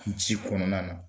ci kɔnɔna na